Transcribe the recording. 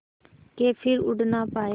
के फिर उड़ ना पाया